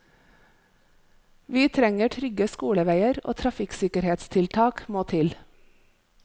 Vi trenger trygge skoleveier, og trafikksikkerhetstiltak må til.